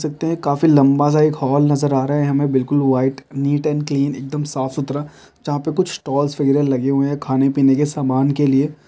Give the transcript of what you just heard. देख सकते है काफी लम्बा सा हॉल नजर आ रहा है हमे बिलकुल वाइट नीट एंड क्लीन एक दम साफ़ सुथरा जहाँ पर कुछ स्टॉल वगैरा लगे हुए है खाने पिने के सामान के लिए।